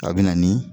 A bɛ na ni